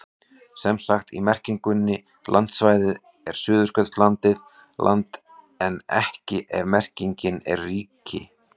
Sem sagt, í merkingunni landsvæði er Suðurskautslandið land en ekki ef merkingin er ríki.